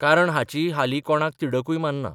कारण हाची हालि कोणाक तिडकूय मारना.